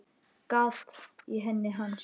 Gat í enni hans.